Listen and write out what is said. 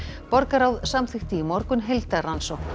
borgarráð samþykkti í morgun heildarrannsókn